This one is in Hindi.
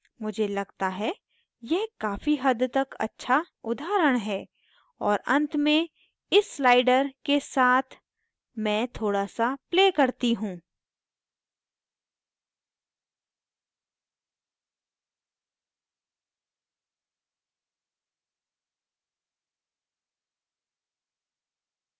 मुझे लगता है यह काफ़ी हद तक अच्छा उदाहरण है और अंत में इस sliders के साथ मैं थोड़ा सा play करती हूँ